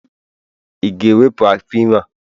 Ị ga-ewepụ afọ ime a?